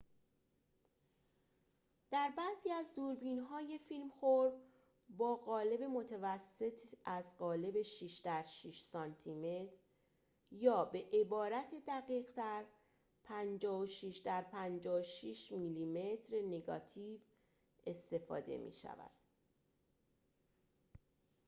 در بعضی از دوربین‌های فیلم‌خور با قالب متوسط از قالب ۶ در ۶ سانتی‌متر یا به‌عبارت دقیق‌تر ۵۶ در ۵۶ میلی‌متر نگاتیو استفاده می‌شود